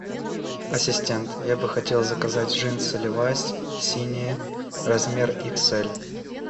ассистент я бы хотел заказать джинсы левайс синие размер икс эль